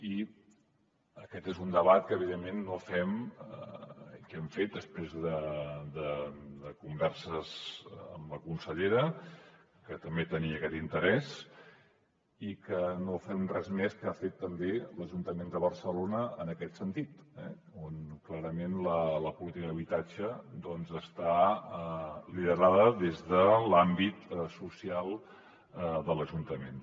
i aquest és un debat que hem fet després de converses amb la consellera que també tenia aquest interès i que no fem res més que el que ha fet també l’ajuntament de barcelona en aquest sentit on clarament la política d’habitatge doncs està liderada des de l’àmbit social de l’ajuntament